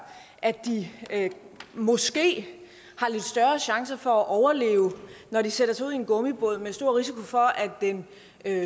at de måske har lidt større chance for at overleve når de sætter sig ud i en gummibåd med stor risiko for at den